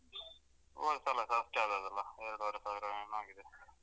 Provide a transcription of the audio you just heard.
ಹೋದಸಲಸ ಅಷ್ಟೆ ಆದದ್ದಲ್ಲ ಎರಡುವರೆ ಸಾವಿರ ಏನೋ ಆಗಿದೆ.